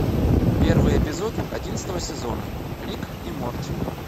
первый эпизод одиннадцатого сезона рик и морти